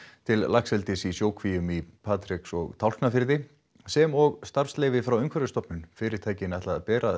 til laxeldis í sjókvíum í Patreks og Tálknafirði sem og starfsleyfi frá Umhverfisstofnun fyrirtækin ætla að bera